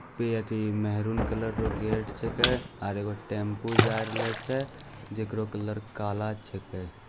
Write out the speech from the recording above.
पे अथी maroon colour रो गेट छकै और एगो टेम्पू जाइ रहलै छे जेकरो कलर काला छेकै ।